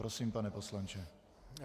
Prosím, pane poslanče.